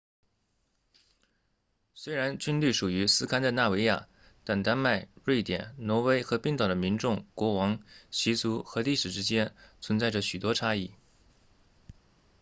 虽然均隶属于斯堪的纳维亚但丹麦瑞典挪威和冰岛的民众国王习俗和历史之间存在着许多差异